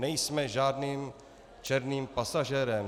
Nejsme žádným černým pasažérem.